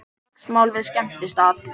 Slagsmál við skemmtistað